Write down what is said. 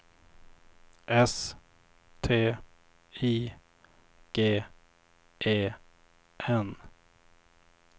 S T I G E N